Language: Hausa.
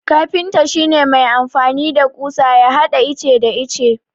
Kafinta shi ne mai amfani da ƙusa ya hada ice da ice.